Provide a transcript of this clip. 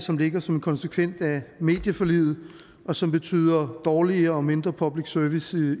som ligger som en konsekvens af medieforliget og som betyder dårlig og mindre public service